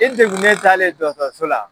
E degunnen taalen dɔgɔtɔrɔso la.